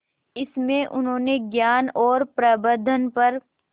इसमें उन्होंने ज्ञान और प्रबंधन पर